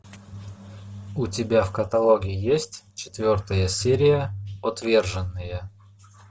у тебя в каталоге есть четвертая серия отверженные